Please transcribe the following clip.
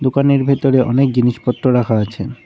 দোকানের ভেতরে অনেক জিনিসপত্র রাখা আছে।